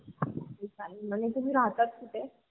म्हणजे तुह्मी राहता कुटे?